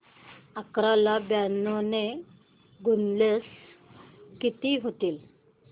अकरा ला ब्याण्णव ने गुणल्यास किती होतील